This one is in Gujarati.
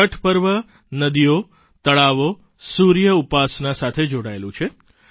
છઠ પર્વ નદીઓ તળાવો સૂર્ય ઉપાસના સાથે જોડાયેલું છે